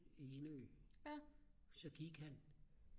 Enø så gik han